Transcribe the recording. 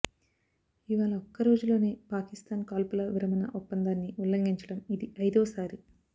ఇవాళ ఒక్కరోజులోనే పాకిస్థాన్ కాల్పుల విరమణ ఒప్పందాన్ని ఉల్లంఘించడం ఇది ఐదోసారి